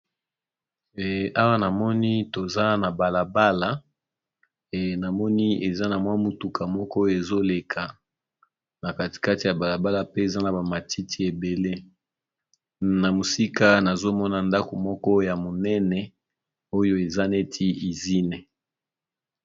Eh awa namoni toza na bala bala e namoni eza na mwa mutuka moko oyo ezo leka na kati kati ya bala bala, pe eza na ba matiti ebele. Na mosika nazo mona ndako moko ya monene, oyo eza neti izine.